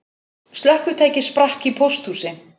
Slökkvitæki sprakk í pósthúsi